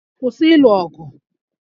Kwụsị ịlụ ọgụ!